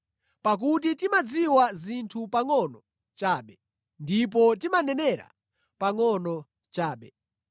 Pakuti timadziwa zinthu pangʼono chabe ndipo timanenera pangʼono chabe.